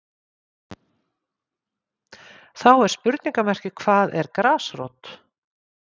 Þá er spurningamerki hvað er grasrót?